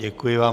Děkuji vám.